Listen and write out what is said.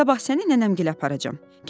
Sabah səni nənəmgilə aparacam.